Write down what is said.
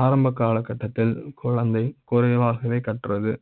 ஆரம்ப காலகட்டத்தில் குழந்தை குறைவாக வே கற்றது